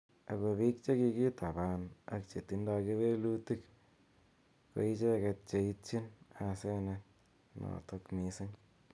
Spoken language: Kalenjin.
Ako pik che kikitapan ak che tindoi kewelutik ko icheket che itchin asenet notok mising.